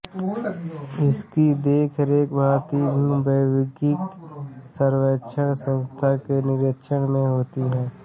इसकी देखरेख भारतीय भूवैज्ञानिक सर्वेक्षण संस्था के निरीक्षण में होती है